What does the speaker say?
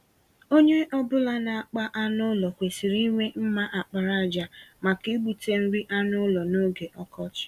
Onye ọ bụla na-akpa anụ ụlọ kwesịrị inwe mma àkpàràjà, maka igbute nri anụ ụlọ n'oge ọkọchị.